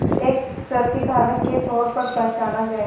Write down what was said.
एक प्रतिकारक के तौर पर पहचाना जाए